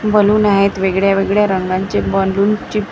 balloon आहेत वेगळ्या वेगळ्या रंगांचे बलूनची --